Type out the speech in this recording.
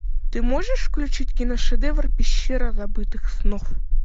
ты можешь включить киношедевр пещера забытых снов